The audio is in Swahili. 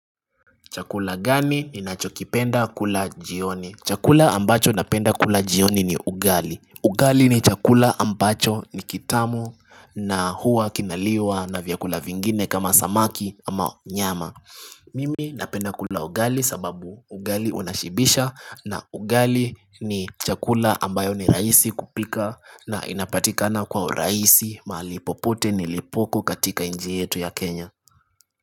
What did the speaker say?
Chakula gani ni nachokipenda kula jioni Chakula ambacho napenda kula jioni ni ugali Ugali ni chakula ambacho ni kitamu na hua kinaliwa na vyakula vingine kama samaki ama nyama Mimi napenda kula ugali sababu ugali unashibisha na ugali ni chakula ambayo ni raisi kupika na inapatikana kwa uraisi malipopote nilipoko katika inchi yetu ya Kenya.